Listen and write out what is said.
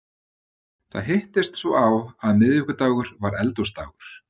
Það hittist svo á að miðvikudagur var Eldhúsdagur.